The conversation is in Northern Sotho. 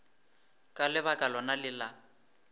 ka lebaka lona le la